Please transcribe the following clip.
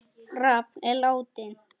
Rafn er látinn.